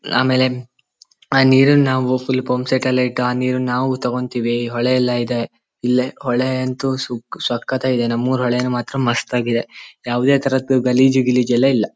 ಆಮೇಲೆ ಆ ನೀರುನ್ ನಾವು ಫುಲ್ ಪಂಪ್ ಸೆಟ್ಟಲ್ಲೇ ಇಟ್ಟು ಆ ನೀರುನ್ ನಾವು ತಗೋಂತಿವಿ. ಈ ಹೊಳೆ ಎಲ್ಲ ಇದೆ. ಇಲ್ಲೆ ಹೊಳೆ ಅಂತೂ ಸು ಸಕ್ಕತಾಗ್ ಇದೆ ನಮ್ಮೂರ್ ಹೊಳೆ ಮಾತ್ರ ಮಸ್ತಾಗ್ ಇದೆ. ಯಾವದೇ ತರದ್ ಗಲೀಜು ಗಿಲೀಜು ಎಲ್ಲ ಇಲ್ಲ.